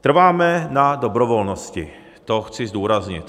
Trváme na dobrovolnosti, to chci zdůraznit.